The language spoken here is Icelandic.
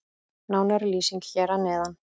Nánari lýsing hér að neðan.